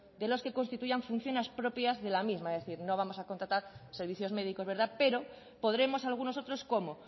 de los que constituyan funciones propias de la misma es decir no vamos a contratar servicios médicos verdad pero podremos algunos otros como